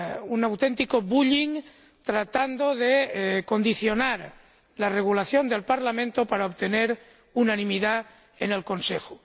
Un auténtico bullying tratando de condicionar la regulación del Parlamento para obtener unanimidad en el Consejo.